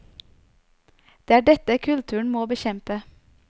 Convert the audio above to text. Det er dette kulturen må bekjempe.